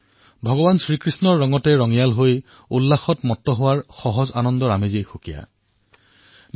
ভগবান কৃষ্ণৰ ৰঙত ৰঙীণ হৈ মগন হোৱাৰ আনন্দ এক পৃথক সুখানুভূতি